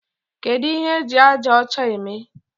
Kedu ihe eji aja ọcha eme?